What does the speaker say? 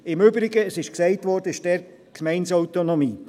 Im Übrigen – es wurde gesagt – gilt dort die Gemeindeautonomie.